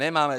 Nemáme.